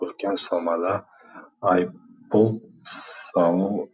үлкен сомада айыппұл салу